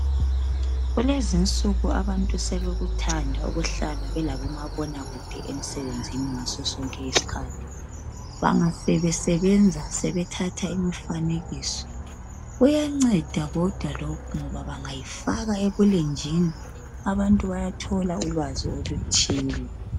Kulezinsuku abantu sebekuthanda ukuhlala belabomabonakude emsebenzini, ngaso sonke isikhathi bangasebesebenza sebethatha imifanekiso, kuyanceda kodwa lokhu ngoba bangayifaka ebulenjini abantu bayathola ulwazi oluthile.